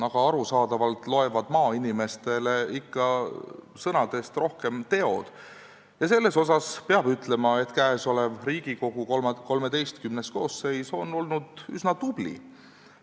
Aga arusaadavalt loevad maainimestele sõnadest rohkem ikka teod ja selle koha pealt peab ütlema, et Riigikogu XIII koosseis on olnud üsna tubli.